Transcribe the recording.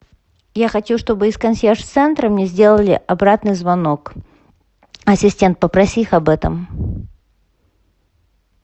я хочу чтобы из консьерж центра мне сделали обратный звонок ассистент попроси их об этом